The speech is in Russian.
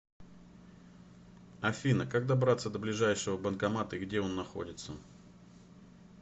афина как добраться до ближайшего банкомата и где он находится